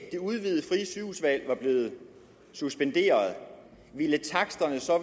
var blevet suspenderet ville taksterne så